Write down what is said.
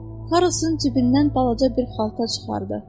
Karrosun cibindən balaca bir xalta çıxardı.